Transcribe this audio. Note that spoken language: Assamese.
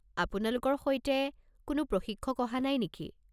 আপোনালোকৰ সৈতে কোনো প্ৰশিক্ষক অহা নাই নেকি?